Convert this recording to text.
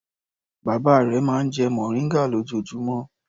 Bàbá rẹ̀ máa ń jẹ mòríngà lójoojúmọ́.